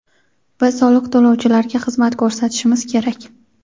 Biz soliq to‘lovchilarga xizmat ko‘rsatishimiz kerak.